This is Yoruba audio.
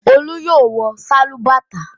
Olú yóò wọ sálúbàtà!